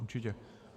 Určitě.